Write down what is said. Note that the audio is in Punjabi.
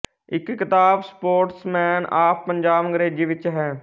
ਇੱਕ ਕਿਤਾਬ ਸਪੋਰਟਸਮੈੱਨ ਆਫ਼ ਪੰਜਾਬ ਅੰਗਰੇਜ਼ੀ ਵਿੱਚ ਹੈ